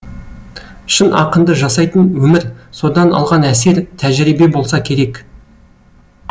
шын ақынды жасайтын өмір содан алған әсер тәжірибе болса керек